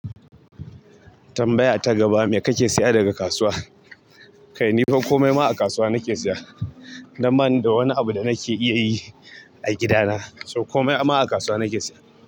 Tambaya ta gaba me kae siya daga kasuwa. Kai ni ko komai ma a kasuwa nake siya na ba ni da wani abu da nake iya yi a gida na. So komai ama a kasuwa nake siya.